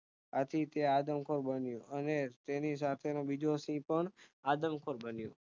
આથી તે આદમખોર બન્યો અને તેની સાથેનો બીજો સિંહ પણ આદમખોર બન્યો